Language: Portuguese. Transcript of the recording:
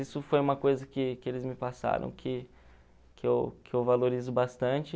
Isso foi uma coisa que que eles me passaram, que que eu que eu valorizo bastante.